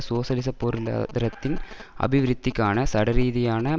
சோசலிசபொருளாதாரத்தின் அபிவிருத்திக்கானசடரீதியான